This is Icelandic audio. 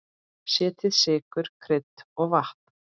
Setjið sykur, krydd og vatn.